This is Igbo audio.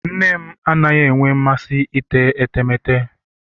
nne m adịghị enwe masị ite etemeete.